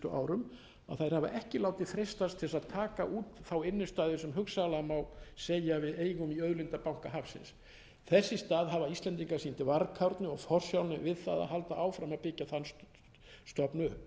árum að þær hafa ekki látið freistast til þess að taka út innstæðuna sem hugsanlega má segja við eigum í auðlindabanka hafsins þess ís að hafa íslendingar sýnt varkárni og forsjálni við það að halda áfram að byggja þann stofn upp